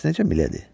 Bəs necə, milady?